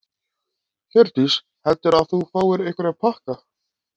Hjördís: Heldurðu að þú fáir einhverja pakka?